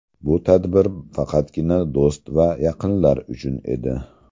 Bu tadbir faqatgina do‘st va yaqinlar uchun edi.